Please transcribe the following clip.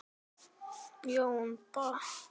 Ég held ekki.